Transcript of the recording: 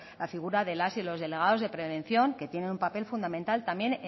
la figura de las y los delegados de prevención que tienen un papel fundamental también